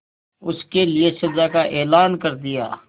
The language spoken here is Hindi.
उसके लिए सजा का ऐलान कर दिया